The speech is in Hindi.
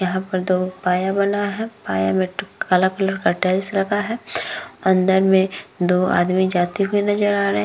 यहाँ पर दो पाया बना है। पाया में काला कलर का टाइल्स लगा है। अन्दर में दो आदमी जाते हुए नजर आ रहे हैं।